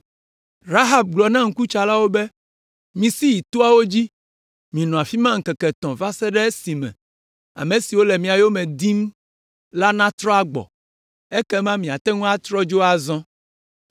Rahab gblɔ na ŋkutsalawo be, “Misi yi toawo dzi. Minɔ afi ma ŋkeke etɔ̃ va se ɖe esime ame siwo le mia dim la natrɔ agbɔ, ekema miate ŋu atrɔ adzo azɔ.”